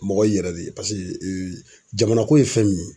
Mɔgɔ y'i yɛrɛ de ye. Paseke ee jamana ko ye fɛn min ye